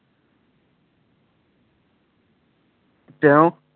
তেওঁ